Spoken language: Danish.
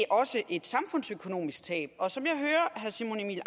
også et samfundsøkonomisk tab herre simon emil